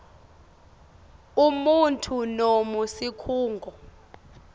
umuntfu noma sikhungo